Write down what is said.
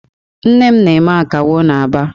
Nne m na-eme Akawo n'Aba.